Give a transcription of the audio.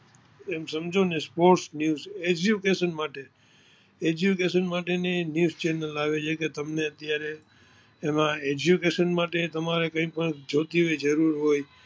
એમ સમજો ને sports news education માટે ની ન્યુસ ચેનલ આવે છે અને તેમાં eduction માટે કઈ પણ જોતી હોય જરૂર હોય